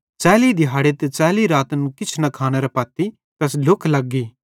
च़ैली दिहाड़े ते च़ैली रातन किछ न खानेरां पत्ती तैस ढ्लुख लग्गी